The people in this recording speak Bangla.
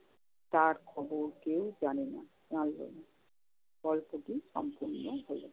তার খবর কেউ জানে না। জানল না। গল্পটি সম্পন্ন হল।